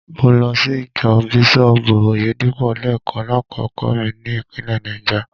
Mo lọ sí ìjọ Bísọ́ọ̀bù Oyèdépò lẹ́ẹ̀kan lákòókò mi ní ìpínlẹ̀ Náìjà.